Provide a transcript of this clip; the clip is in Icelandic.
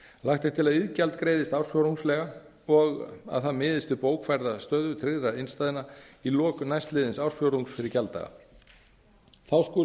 lagt er til að iðgjald greiðist ársfjórðungslega og að það miðist við bókfærða stöðu tryggðra innstæðna í lok næstliðins ársfjórðungs fyrir gjalddaga þá skulu